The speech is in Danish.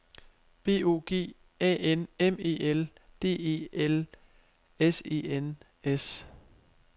B O G A N M E L D E L S E N S